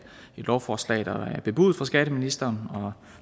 et lovforslag der er bebudet fra skatteministeren og